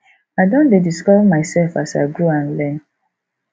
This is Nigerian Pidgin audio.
i don dey discover myself as i grow and learn